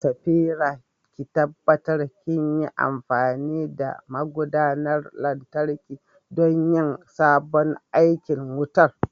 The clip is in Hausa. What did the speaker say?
Safira, ki tabbatar kinyi amfani da magudanar lantarki don yin sabon aikin wutar.